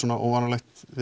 óvanalegt við